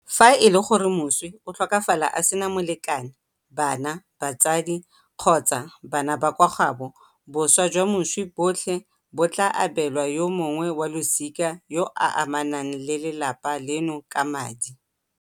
Fa e le gore moswi o tlhokafala a sena molekane, bana, batsadi kgotsa bana ba kwa gaabo, boswa jwa moswi botlhe bo tla abelwa yo mongwe wa losika yo a amanang le lelapa leno ka madi.